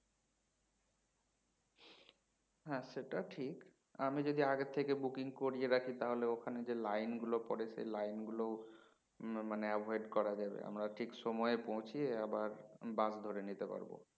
হ্যাঁ সেটা ঠিক আমি যদি আগে থেকে booking করিয়ে রাখি তাহলে ওখানে যে line গুলো পরে সে line গুলোও মানে avoid করা যাবে আমরা ঠিক সময়ে পৌছিয়ে আবার bus ধরে নিতে পারবো